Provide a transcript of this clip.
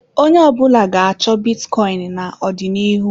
Onye ọbụla ga-achọ bitcoin n'ọdịnihu.